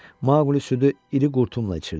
Maqli südü iri qurtumla içirdi.